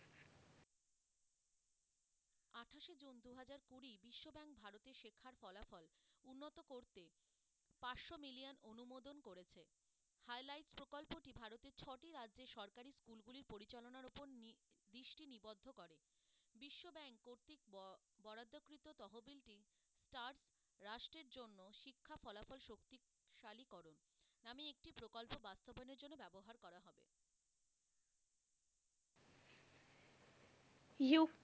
Hugh,